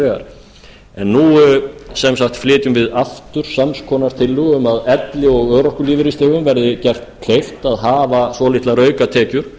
vegar en nú sem sagt flytjum við aftur sams konar tillögu um að elli og örorkulífeyrisþegum verði gert kleift að hafa svolitlar aukatekjur